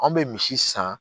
An bɛ misi san